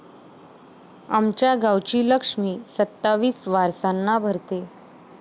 आमच्या गावची लक्ष्मी सत्तावीस वारसांना भरते...